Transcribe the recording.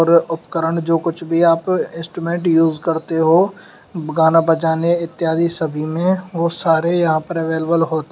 उपकरण जो कुछ भी आप इंस्ट्रूमेंट यूज करते हो गाना बजाने इत्यादि सभी में वो सारे यहां पर अवेलेबल होते--